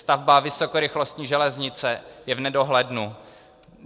Stavba vysokorychlostní železnice je v nedohlednu.